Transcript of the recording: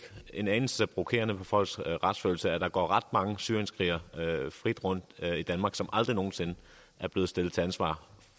en anelse provokerende på folks retsfølelse at der går ret mange syrienskrigere frit rundt i danmark som aldrig nogen sinde er blevet stillet til ansvar